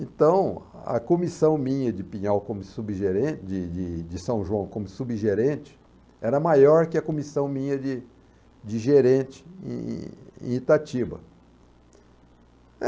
Então, a comissão minha de Pinhal como subgerente, de de de São João como subgerente, era maior que a comissão minha de de gerente em em em Itatiba